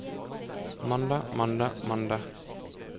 mandag mandag mandag